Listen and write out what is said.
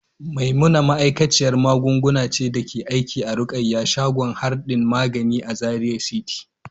Maimuna ma'aikaciyar magunguna ce da take aiki a Rukayya shagon hardin magani a Zaria City.